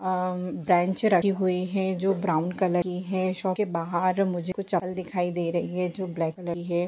हम्म bench राखी हुयी है जो ब्राउन कलर की है शॉप के बहार मुझे कुछ चप्पल दिखाई दे रही है जो ब्लैक कलर की है।